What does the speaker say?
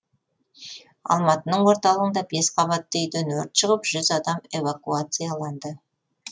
алматының орталығында бес қабатты үйден өрт шығып жүз адам эвакуацияланды